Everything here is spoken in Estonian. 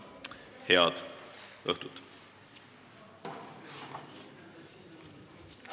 Head õhtut!